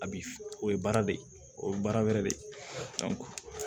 A bi o ye baara de ye o ye baara wɛrɛ de ye